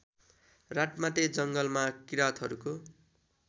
रातमाटे जङ्गलमा किराँतहरूको